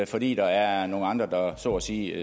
fordi der er nogle andre der så at sige